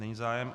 Není zájem.